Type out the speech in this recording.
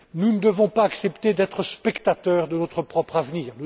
Nous ne devons pas accepter d'être spectateurs de notre propre avenir.